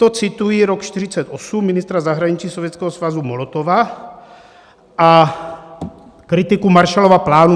To cituji rok 1948, ministra zahraničí Sovětského svazu Molotova a kritiku Marshallova plánu.